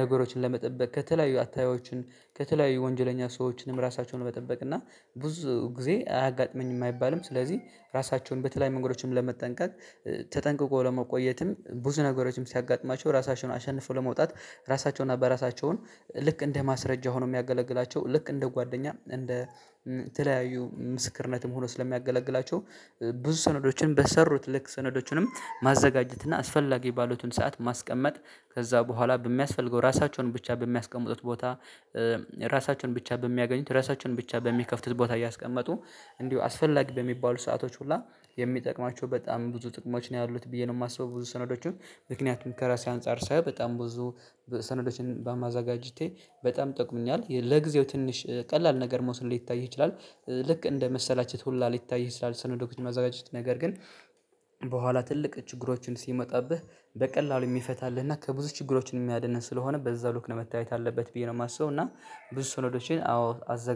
ነገሮችን ለመጠበቅ ከተለያዩ አታዮችን ከተለያዩ ወንጀለኛ ሰዎችንም ራሳቸውን መጠበቅ እና ብዙ ጊዜ አያጋጥመኝም አይባልም። ስለዚህ ራሳቸውን በተለይ መንገዶችን ለመጠንቀቅ ተጠንቅቆ ለመቆየትም ብዙ ነገሮችም ሲያጋጥማቸው ራሳቸውን አሸንፎ ለመውጣት ራሳቸውን እና በራሳቸውን ልክ እንደ ማስረጃ ሆኖ የሚያገለግላቸው ልክ እንደ ጓደኛ እንደ ተለያዩ ምስክርነትም ሆኖ ስለሚያገለግላቸው ብዙ ሰነዶችን በሰሩት ልክ ሰነዶችንም ማዘጋጀት እና አስፈላጊ ባሉትን ሰዓት ማስቀመጥ ከዛ በኋላ በሚያስፈልገው ራሳቸውን ብቻ በሚያስቀምጡት ቦታ፣ ራሳቸውን ብቻ በሚያገኙት ራሳቸውን ብቻ በሚከፍቱት ቦታ እያስቀመጡ እንዲሁ አስፈላጊ በሚባሉ ሰአቶች ሁላ የሚጠቅማቸው በጣም ብዙ ጥቅሞች ነው ያሉት ብዬ ነው የማስበው ብዙ ሰነዶችን ምክንያቱም ከራሴ አንፃር ሳይ በጣም ብዙ ሰነዶችን በማዘጋጀቴ በጣም ጠቅሞኛል ለጊዜው ትንሽ ቀላል ነገር መውሰድ ሊታይ ይችላል ልክ እንደ መሰላችሁት ሁላ ሊታይ ማዘጋጀት ነገር ግን በኋላ ትልቅ ችግሮችን ሲመጣብህ በቀላሉ የሚፈታልህና ከብዙ ችግሮችን የሚያድነን ስለሆነ በዛ ሉክ ነው መታየት አለበት ብዬ ነው የማስበው እና ብዙ ሰነዶቼን አው